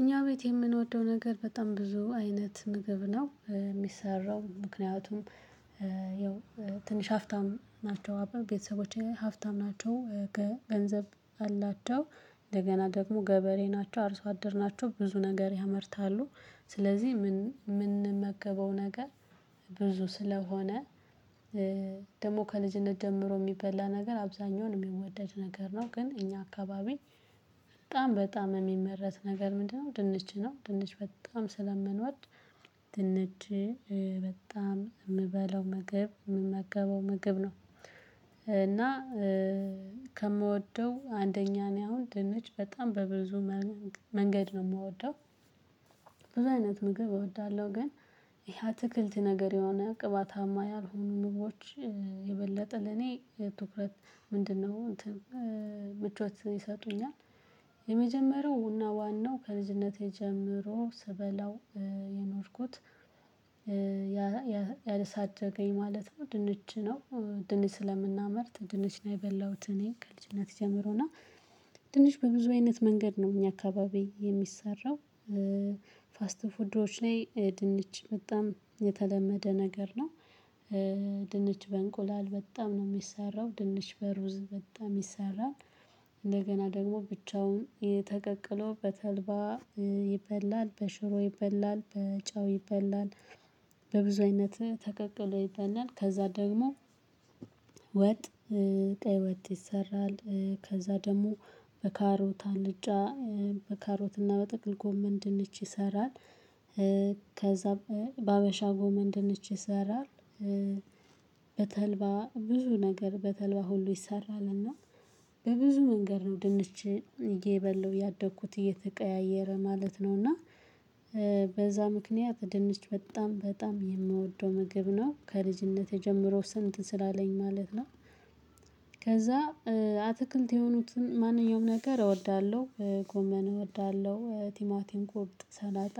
እኛ ቤት የምንወደው ነገር በጣም ብዙ አይነት ምግብ ነው የሚሰራው ምክንያቱም ያው ትንሽ ሀፍታም ናቸው ቤተሰቦቼ ሀፍታም ናቸው ገንዘብ አላቸው እንደገና ደግሞ ገበሬ ናቸው አርሶ አደር ናቸው ብዙ ነገር ያመርታሉ። ስለዚህ ምን ምንመገበው ነገር ብዙ ስለሆነ ደግሞ ከልጅነት ጀምሮ ሚበላ ነገር አብዛኛውን ሚወደድ ነገር ነው ግን እኛ አካባቢ በጣም በጣም ሚመረት ነገር ምንድነው ድንች ነው። ድንች በጣም ስለመኖድ ድንች በጣም ምበለው ምግብ ምመገበው ምግብ ነው። እና ከምወደው አንደኛ ነው አሁን ድንች በጣም በብዙ መንገድ ነው ምወደው ብዙ አይነት ምግብ እወዳለሁ። ግን ይሄ አትክልት ነገር የሆነ ቅባታማ ያልሆኑ ምግቦች የበለጠ ለኔ ትኩረት ምንድነው እንትን ምቾት ይሰጡኛል። የመጀመሪያው እና ዋናው ከልጅነቴ ጀምሮ ስበላው የኖርኩት ያ ያሳደገኝ ማለት ነው ድንች ነው። ድንች ስለምናመርት ድንች ነው የበላሁት እኔ ከልጅነት ጀምሮና ድንች በብዙ አይነት መንገድ ነው እኛ አካባቢ የሚሰራው። ፋስት ፉድወች ላይ ድንች በጣም የተለመደ ነገር ነው። ድንች በእንቁላል በጣም ነው የሚሰራው ድንች በሩዝ በጣም ይሰራል እንደገና ደግሞ ብቻውን ተቀቅሎ በተልባ ይበላል በሽሮ ይበላል በጨው ይበላል። በብዙ አይነት ተቀቅሎ ይበላል ከዛ ደግሞ ወጥ ቀይ ወጥ ይሰራል። ከዛ ደግሞ በካሮት አልጫ በካሮት እና በጥቅል ጎመን ድንች ይሰራል። ከዛ በሀበሻ ጎመን ድንች ይሰራል። በተልባ ብዙ ነገር በተልባ ሁሉ ይሰራልና በብዙ መንገድ ነው ድንች የበለው ያደግኩት እየተቀያየረ ማለት ነው። እና በዛ ምክንያት ድንች በጣም በጣም የምወደው ምግብ ነው። ከልጅነቴ ጀምሮ ስንት ስላለኝ ማለት ነው። ከዛ አትክልት የሆኑትን ማንኛውም ነገር እወዳለሁ ጎመን እወዳለሁ ቲማቲን ኮብት ሰላጣ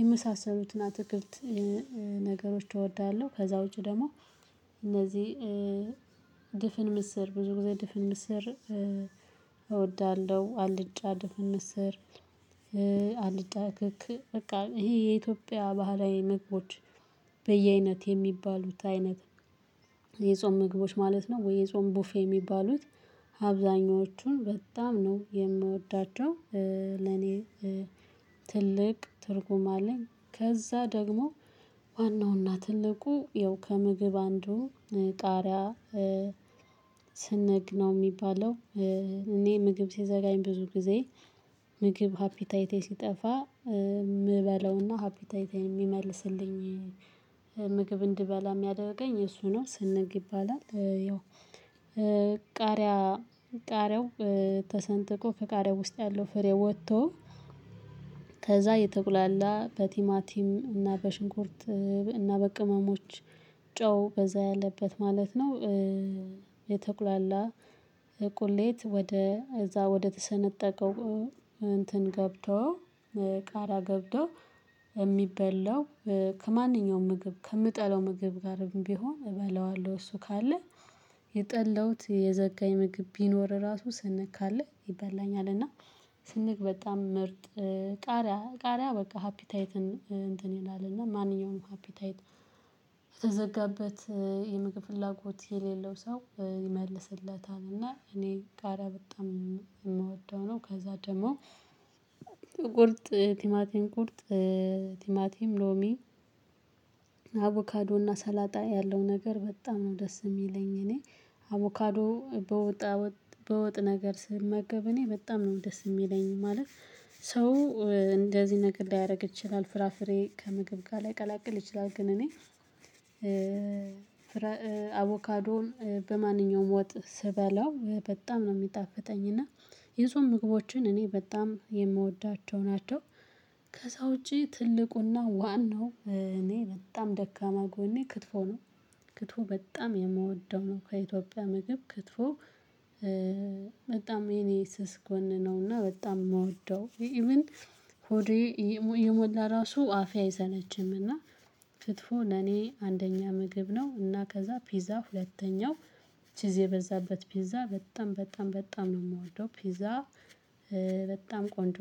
የመሳሰሉትን አትክልት ነገሮች እወዳለሁ። ከዛ ውጪ ደግሞ እነዚህ ድፍን ምስር ብዙ ጊዜ ድፍን ምስር እወዳለሁ አልጫ ድፍን ምስር። አልጫ ክክ በቃ ይሄ የኢትዮጵያ ባህላዊ ምግቦች በየአይነት የሚባሉት አይነት የጾም ምግቦች ማለት ነው ወይ የጾም ቡፌ የሚባሉት አብዛኞቹን በጣም ነው የምወዳቸው። ለኔ ትልቅ ትርጉም አለኝ ከዛ ደግሞ ዋናውና ትልቁ ያው ከምግብ አንዱ ቃሪያ ስንግ ነው የሚባለው። እኔ ምግብ ሲዘራኝ ብዙ ጊዜ ምግብ ሃፒታይቴ ሲጠፋ ምበለውና ሃፒታይቴ የሚመልስልኝ ምግብ እንድበላ ሚያደርገኝ እሱ ነው ስንግ ይባላል። ያው ቃሪያ ቃሪያው ተሰንጥቆ ከቃሪያው ውስጥ ያለው ፍሬ ወጥቶ ከዛ የተቁላላ በቲማቲም እና በሽንኩርት እና በቅመሞች ጨው በዛ ያለበት ማለት ነው። የተቁላላ ቁሌት ወደ እዛ ወደ ተሰነጠቀው እንትን ገብቶ ቃራ ገብቶ የሚበላው። ከማንኛውም ምግብ ከምጠላው ምግብ ጋር ቢሆን እበለዋለሁ እሱ ካለ የጠላሁት የዘጋኝ ምግብ ቢኖር ራሱ ስንግ ካለ ይበላኛል። እና ስንግ በጣም ምርጥ ቃሪያ ቃሪያ በቃ ሃፒታይትን እንትን ይላል እና ማንኛውንም ሃፒታይት የተዘጋበት የምግብ ፍላጎት የሌለው ሰው ይመልስለታል። እና እኔ ቃሪያ በጣም የምወደው ነው። ከዛ ደግሞ ቁርጥ ቲማቲ ቁርጥ ቲማቲ ሎሚ አቮካዶና ሰላጣ ያለው ነገር በጣም ነው ደስ የሚለኝ። እኔ አቮካዶ በወጣወጥ በወጥ ነገር ስመገብ እኔ በጣም ነው ደስ ሚለኝ ማለት። ሰው እንደዚህ ነገር ላይደረግ ይችላል ፍራፍሬ ከምግብ ጋር ላይቀላቅል ይችላል። ግን እኔ ፍራ አቮካዶን በማንኛውም ወጥ ስበላው በጣም ነው የሚጣፍጠኝና የሰው ምግቦችን እኔ በጣም የምወዳቸው ናቸው። ከዛ ውጪ ትልቁና ዋናው እኔ በጣም ደካማ ጎኔ ክትፎ ነው። ክትፎ በጣም የምወደው ነው ከኢትዮጵያ ምግብ ክትፎ። በጣም የኔ ስስ ጎን ነውና በጣም የምወደው ኢቭን ሆዴ የሞላ ራሱ አፌ አይሰለችምና ክትፉ ለኔ አንደኛ ምግብ ነው። እና ከዛ ፒዛ ሁለተኛው ቺዝ የበዛበት ፒዛ በጣም በጣም በጣም ነው የምወደው ፒዛ። በጣም ቆንጆ